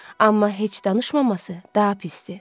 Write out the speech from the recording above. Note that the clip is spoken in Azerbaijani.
Amma heç danışmaması daha pisdir.